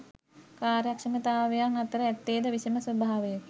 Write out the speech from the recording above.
කාර්යක්ෂමතාවයන් අතර ඇත්තේද විෂම ස්වභාවයකි